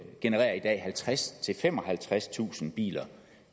genererer i dag halvtredstusind femoghalvtredstusind biler